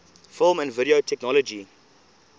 film and video technology